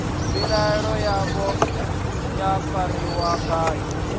mbilaelo yavho ya fariwa ngayo